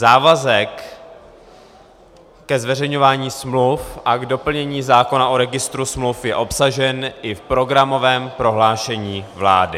Závazek ke zveřejňování smluv a k doplnění zákona o registru smluv je obsažen i v programovém prohlášení vlády.